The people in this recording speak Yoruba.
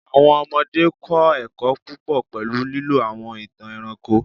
Awọn ọmọde kọ ẹkọ pupọ pẹlu lilo awọn itan ẹranko